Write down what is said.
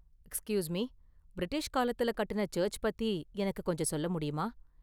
Excuse me, British காலத்துல கட்டுன church பத்தி எனக்கு கொஞ்சம் சொல்லமுடியுமா?